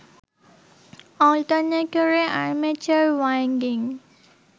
অল্টারনেটরে armature winding